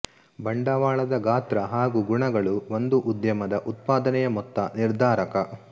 ಬಂಡವಾಳದ ಗಾತ್ರ ಹಾಗೂ ಗುಣಗಳು ಒಂದು ಉದ್ಯಮದ ಉತ್ಪಾದನೆಯ ಮೊತ್ತ ನಿರ್ಧಾರಕ